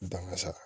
Dankasa